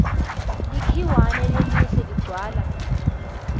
likhiwane lelihle ligcwala